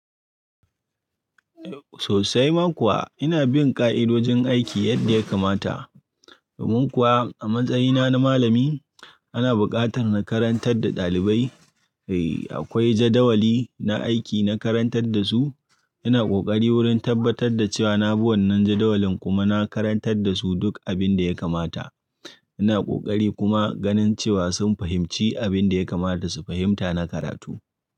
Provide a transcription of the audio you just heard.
Sosai ma kuwa ina bin ka'idojin aiki yadda ya kamata. Domin kuwa a matsayina na malami ana buƙatar na karantar da ɗalibai. Eh, akwai jadawali na aiki na karantar da su. Ina ƙoƙari wurin tabbatar da cewa na bi wannan jadawalin kuma na karantar da su duk abin da ya kamata. Ina ƙoƙari kuma ganin cewa sun fahimci abin da ya kamata su fahimta na karatu.